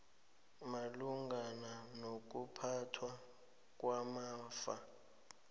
malungana nokuphathwa kwamafa